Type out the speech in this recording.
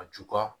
A jukɔrɔ